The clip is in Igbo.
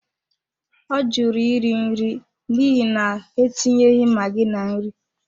Ọ jụrụ iri nri n'ihi na, ha etinyeghị maggi na nri.